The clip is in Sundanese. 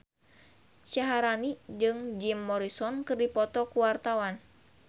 Syaharani jeung Jim Morrison keur dipoto ku wartawan